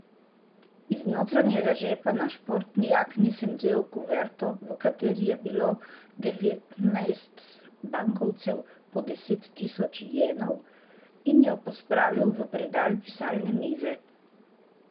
Iz notranjega žepa na športni jakni sem vzel kuverto, v kateri je bilo devetnajst bankovcev po deset tisoč jenov, in jo pospravil v predal pisalne mize.